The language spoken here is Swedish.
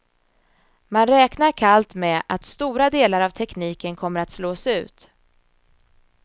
Man räknar kallt med att stora delar av tekniken kommer att slås ut.